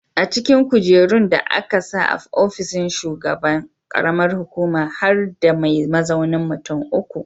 A cikin kujerun da aka sa a ofishin shugaban ƙaramar hukuma har da mai mazaunin mutum uku.